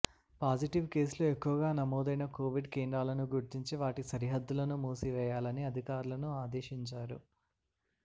positive కేసులు ఎక్కువగా నమోదైన కోవిడ్ కేంద్రాలను గుర్తించి వాటి సరిహద్దులను మూసివేయాలని అధికారులను ఆదేశించారు